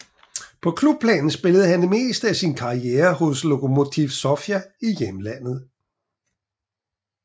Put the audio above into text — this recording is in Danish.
På klubplan spillede han det meste af sin karriere hos Lokomotiv Sofia i hjemlandet